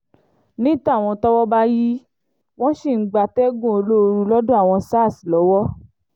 ní tàwọn tọ́wọ́ bá yìí wọ́n ṣì ń gbatẹ́gùn olóoru lọ́dọ̀ àwọn sars lọ́wọ́